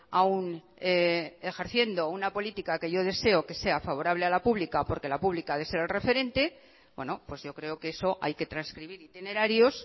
aún ejerciendo una política que yo deseo que sea favorable a la pública porque la pública a de ser el referente pues yo creo que eso hay que transcribir itinerarios